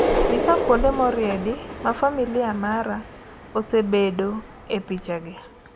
nyisa kuonde moriedi ma familia mara osebedo e picha gi